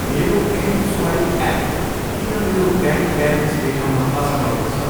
मेरो M swipe app किन मेरो ब्याङ्क ब्यालेन्स देखाउन असमर्थ छ?